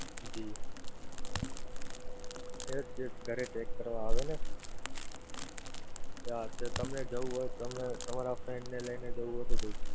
જી yes જે ઘરે check કરવા આવે ને યા અથવા તમે જવું હોય તમારા friend ને લઈ ને જવું હોય તો જઈ શકો.